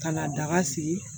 Ka na daga sigi